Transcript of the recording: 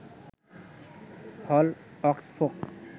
হল অক্সফোর্ফ